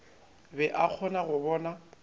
be a kgona go bona